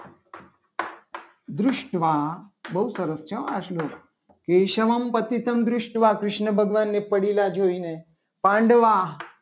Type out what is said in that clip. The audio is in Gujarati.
પૃષ્ઠ વા બહુ સરસ છે. આ શ્લોક કેશવમ અતિત્વ મ દૃષ્ટવન કૃષ્ણ ભગવાનને પડેલા જોઈને પાંડવા